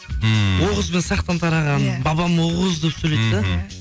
ммм оғыз бен сақтан тарағанын бабам оғыз деп сөйлейді да